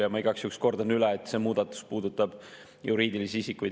Ja ma igaks juhuks kordan üle, et see muudatus puudutab juriidilisi isikuid.